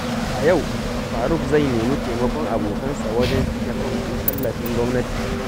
A yau, Faruk zai nemi taimakon abokansa wajen cike fom ɗin tallafin gwamnati.